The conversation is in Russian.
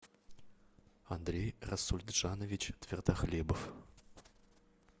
андрей расульджанович твердохлебов